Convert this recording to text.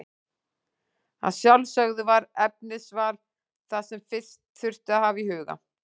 Að sjálfsögðu var efnisval það sem fyrst þurfti að hafa í huga.